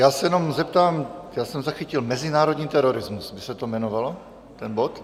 Já se jenom zeptám, já jsem zachytil - Mezinárodní terorismus by se to jmenovalo, ten bod?